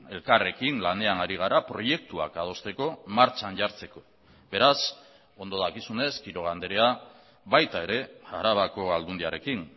elkarrekin lanean ari gara proiektuak adosteko martxan jartzeko beraz ondo dakizunez quiroga andrea baita ere arabako aldundiarekin